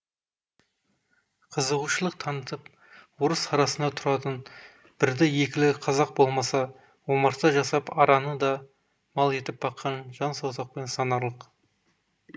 қызығушылық танытып орыс арасында тұратын бірді екілі қазақ болмаса омарта жасап араны да мал етіп баққан жан саусақпен санарлық